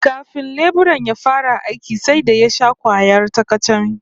Kafin leburan ya fara aikin sai da ya sha kwayar ta-kacame